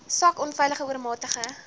swak onveilige oormatige